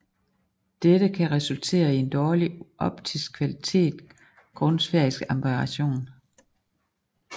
Dette kan resultere i en dårlig optisk kvalitet grund sfæriske aberration